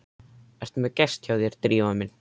Ertu með gest hjá þér, Drífa mín?